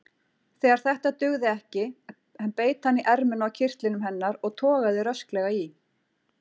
Þegar þetta dugði ekki beit hann í ermina á kyrtlinum hennar og togaði rösklega í.